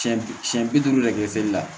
Siyɛn siyɛn bi duuru de kɛ seli la